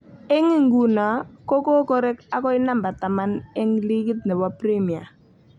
Eng inguno ko kokorek akoi number taman eng ligit nebo premia